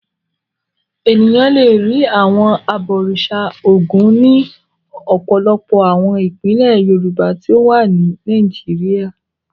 Ènìyàn le rí àwọn abọ̀rìṣà Ògún ní ọ̀pọ̀lọpọ̀ àwọn ìpínlẹ̀ Yorùbá tí ó wà ní Nàìjíríà.